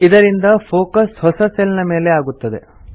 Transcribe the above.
ಇದರಿಂದ ಫೋಕಸ್ ಹೊಸ ಸೆಲ್ ನ ಮೇಲೆ ಆಗುತ್ತದೆ